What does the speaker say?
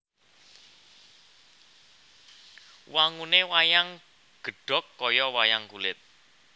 Wangune wayang gedhog kaya wayang kulit